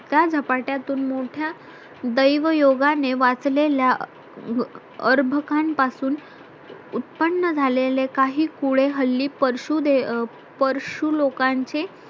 त्या झपाट्यातून मोठ्या दैवयोगाने वाचलेल्या अर्भकापासून उत्पन्न झालेले काही कुळे हल्ली परशू परशू लोकांचे